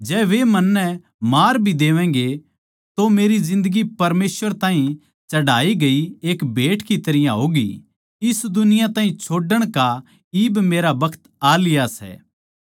जै वे मन्नै मार भी देवैगें तो मेरी जिन्दगी परमेसवर ताहीं चढ़ाई गई एक भेट की तरियां होगी इस दुनिया ताहीं छोड़ण का इब मेरा बखत आ लिया सै